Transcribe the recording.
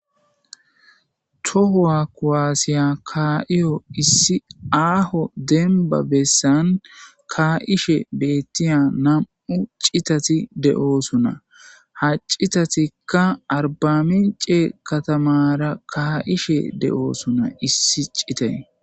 Tohowa kuwaassiya kaaiyo issi aaho denba bessan kaa7ishe beettiya nam7u citati de7oosuna haccitatikka arbami cee katamara kaa7ishe de7oosuna issi citey